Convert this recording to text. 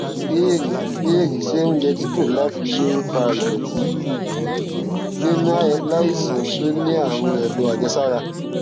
ìbéèrè ìbéèrè ṣé oúnjẹ tí kò láfiwé ń fa ìdòtí nínú aláìsàn tó ní àrùn èdò àjẹsára